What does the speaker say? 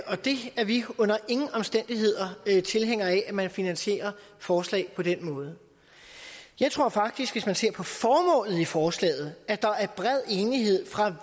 det er vi under ingen omstændigheder tilhængere af altså at man finansierer forslag på den måde jeg tror faktisk hvis man ser på formålet i forslaget at der er bred enighed fra